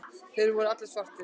Þeir voru allir svartir.